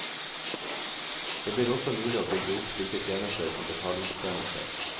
Det blir også mulig å bygge opp slike tjenester som betalingstjenester.